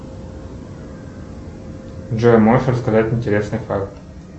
джой можешь рассказать интересный факт